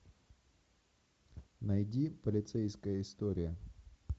найди полицейская история